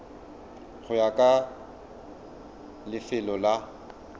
go ya ka lefelo la